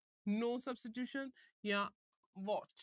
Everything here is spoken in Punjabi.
no substitution ਜਾਂ watch